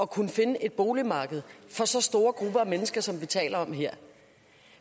kunne finde et boligmarked for så store grupper af mennesker som vi taler om her